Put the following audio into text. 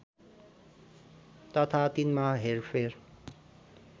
तथा तिनमा हेरफेर